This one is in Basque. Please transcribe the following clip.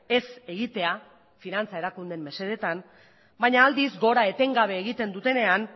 ez egitea finantza erakundeen mesedetan baina aldiz gora etengabe egiten dutenean